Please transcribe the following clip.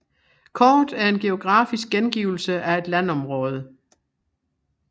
Kort er en geografisk gengivelse af et landområde